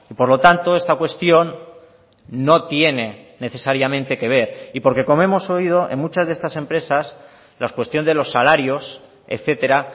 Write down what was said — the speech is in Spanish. por lo tanto esta cuestión no tiene necesariamente que ver y porque como hemos oído en muchas de estas empresas la cuestión de los salarios etcétera